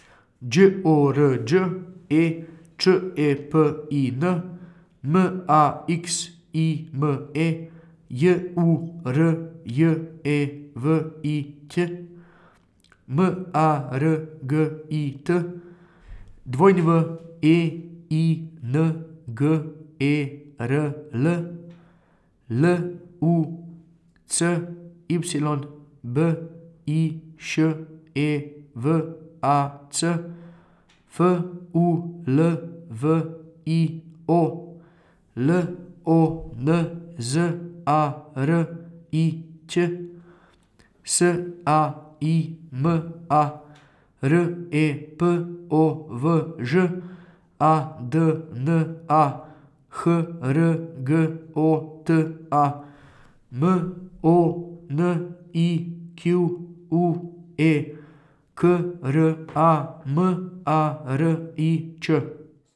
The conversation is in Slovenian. Đ O R Đ E, Č E P I N; M A X I M E, J U R J E V I Ć; M A R G I T, W E I N G E R L; L U C Y, B I Š E V A C; F U L V I O, L O N Z A R I Ć; S A I M A, R E P O V Ž; A D N A, H R G O T A; M O N I Q U E, K R A M A R I Č.